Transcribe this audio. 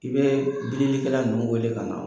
I bɛ bilikɛla nunnu wele ka na